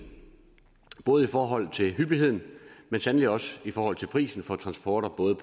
både i forhold til hyppigheden men sandelig også i forhold til prisen for transport af både